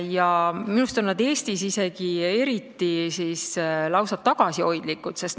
Minu meelest on nad Eestis isegi lausa tagasihoidlikud.